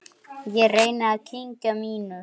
Ég reyni að kyngja mínu.